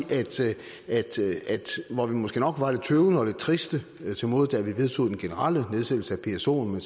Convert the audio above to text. at hvor vi måske nok var lidt tøvende og lidt triste til mode da vi vedtog den generelle nedsættelse af psoen men